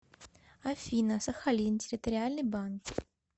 афина сахалин территориальный банк